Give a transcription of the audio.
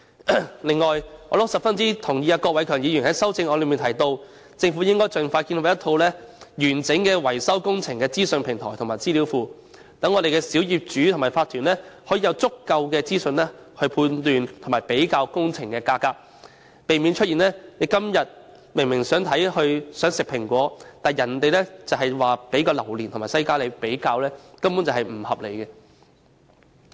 此外，我十分贊同郭偉强議員在修正案中提到政府應盡快建立一站式維修工程資訊平台及資料庫的建議，讓小業主和法團有足夠資訊判斷和比較工程價格，避免出現我們今天想吃蘋果，但卻只獲給予榴槤和西瓜作比較的不合理情況。